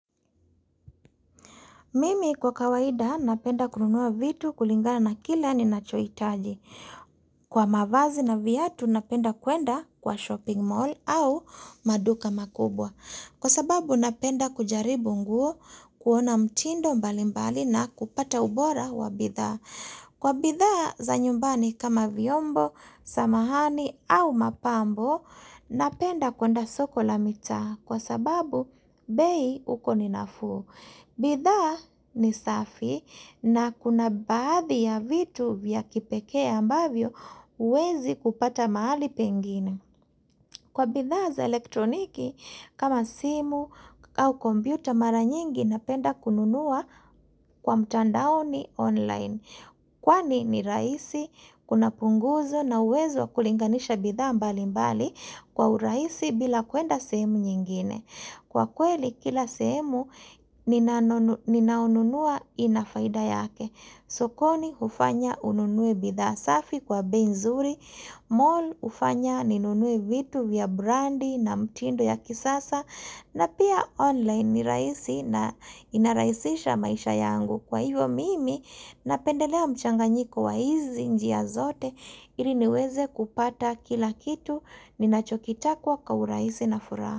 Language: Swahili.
Mimi kwa kawaida napenda kununua vitu kulingana na kila ninachoitaji. Kwa mavazi na viatu napenda kuenda kwa shopping mall au maduka makubwa. Kwa sababu napenda kujaribu nguo kuona mtindo mbali mbali na kupata ubora wa bidhaa. Kwa bidhaa za nyumbani kama vyombo, samahani au mapambo napenda kuenda soko la mitaa kwa sababu bei huko ni nafuu. Bidhaa ni safi na kuna baadhi ya vitu vya kipekee ambavyo huwezi kupata mahali pengine. Kwa bidhaa za elektroniki, kama simu au kompyuta mara nyingi napenda kununua kwa mtandaoni online. Kwani ni rahisi, kuna punguzo na uwezo wa kulinganisha bidhaa mbali mbali kwa urahisi bila kuenda sehemu nyingine. Kwa kweli kila sehemu ninaonunua inafaida yake. Sokoni hufanya ununue bidhaa safi kwa bei nzuri, mall hufanya ninunue vitu vya brandi na mtindo ya kisasa na pia online nirahisi na inarahisisha maisha yangu. Kwa hivyo mimi napendelea mchanganyiko wa hizi njia zote iliniweze kupata kila kitu ninachokitaka kwa urahisi na fura.